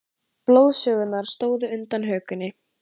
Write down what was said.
Blóðgusurnar stóðu undan hökunni.